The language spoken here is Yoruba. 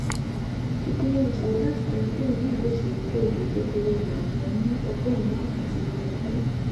ìpinnu olùṣòwò láti tayọ kúrò nínú ìwéìṣòwò kò òwò kékeré rẹ yọ ni ọgọrùnún wákàtí lọdọọdun